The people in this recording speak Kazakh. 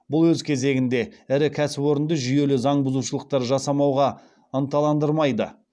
бұл өз кезегінде ірі кәсіпорынды жүйелі заң бұзушылықтар жасамауға ынталандырмайды